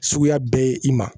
Suguya bɛɛ ye i ma